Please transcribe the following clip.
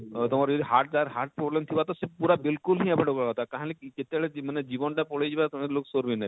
ତମର ଇ heart ର heart problem ଥିବା ତ ସେ ପୁରା ବିଲକୁଲ ହିଁ କାହିଲ ଲାଗି ଯେତେବେଳେ ମାନେ ଜୀବନ ଟା ପଳେଇ ଯିବା ତ ଲୋକ ସୋର ବି ନେଇ ପଅନ